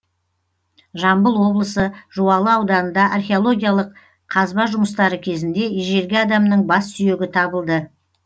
жамбыл облысы жуалы ауданында археологиялық қазба жұмыстары кезінде ежелгі адамның бас сүйегі табылды